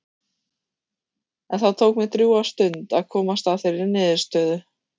En það tók mig drjúga stund að komast að þeirri niðurstöðu.